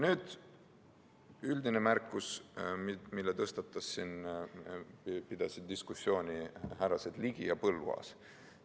Nüüd, üldine märkus, mille tõstatasid ja mille üle pidasid diskussiooni härrased Ligi ja Põlluaas.